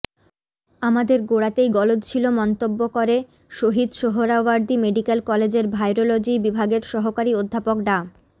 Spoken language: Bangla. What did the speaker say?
আমাদের গোড়াতেই গলদ ছিল মন্তব্য করে শহীদ সোহরাওয়ার্দী মেডিক্যাল কলেজের ভাইরোলজি বিভাগের সহকারী অধ্যাপক ডা